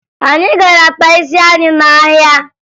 Anyị gara kpaa isi anyị n'ahịa